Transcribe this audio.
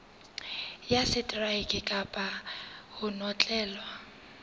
ya seteraeke kapa ho notlellwa